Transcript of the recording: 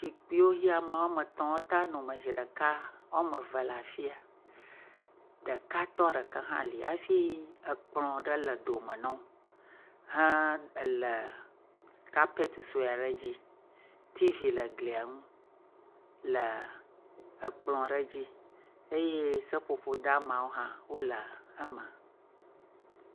Zikpuiwo yi ame etɔ̃ ate ŋu ano me zi ɖeka woame eve le afia, ɖekatɔ ɖeka hã li afi kplɔ̃ ɖe le dome no he le kapeti sue aɖe dzi. T.V le glia ŋu le kplɔ̃ aɖe dzi eye seƒoƒo deamawo hã wole eme.